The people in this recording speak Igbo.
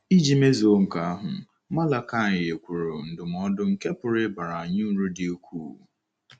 Iji mezuo nke ahụ, Malakaị nyekwuru ndụmọdụ nke pụrụ ịbara anyị uru dị ukwuu.